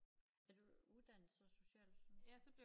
Er du uddannet så social sundhed